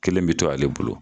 Kelen bɛ to ale bolo